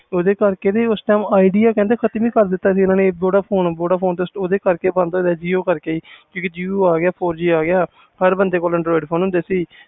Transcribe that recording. ਓਹਦੇ ਕਰੇ idea sim ਖਤਮ ਹੀ ਕਰ ਦਿੱਤੋ ਸੀ vodaphone store ਦੇ jio ਕਰਕੇ ਬੰਦ ਹੋ ਗਏ ਸੀ ਆ ਗਿਆ ਹਰ ਬੰਦੇ ਕੋਲ andirod ਫੋਨ ਹੁੰਦੇ ਸੀ